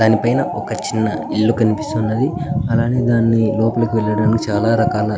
దాని పైన్ ఒక చిన్న ఇల్లు కనిపిస్తున్నది అలాగే దాని లోపలికి వెళ్ళడానికి చాల రకాల --